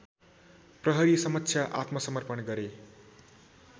प्रहरीसमक्ष आत्मसमर्पण गरे